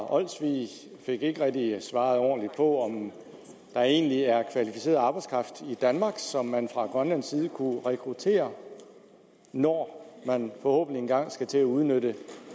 olsvig fik ikke rigtig svaret ordentligt på om der egentlig er kvalificeret arbejdskraft i danmark som man fra grønlandsk side kunne rekruttere når man forhåbentlig engang skal til at udnytte